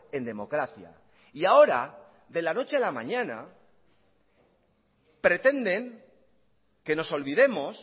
en democracia y ahora de la noche a la mañana pretenden que nos olvidemos